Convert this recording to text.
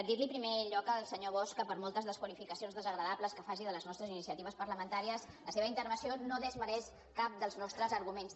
dir li en primer lloc al senyor bosch que per moltes desqualificacions desagradables que faci de les nostres iniciatives parlamentàries la seva intervenció no desmereix cap dels nostres arguments